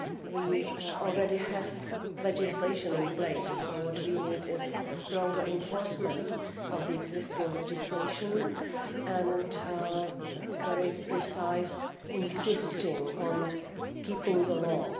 We already have legislation in place, so what we need is stronger enforcement of the existing legislation and very precise insistence on observing the law.